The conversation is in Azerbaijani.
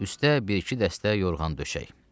Üstə bir-iki dəstə yorğan döşək.